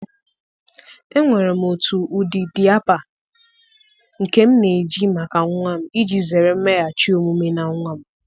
Enwere m otu ụdị diaper nke m na-eji maka nwa m, iji zere mmeghachi omume na nwa m